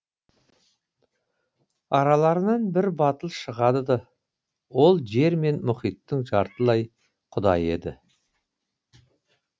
араларынан бір батыл шығады ол жер мен мұхиттың жатртылай құдайы еді